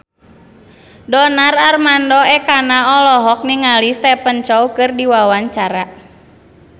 Donar Armando Ekana olohok ningali Stephen Chow keur diwawancara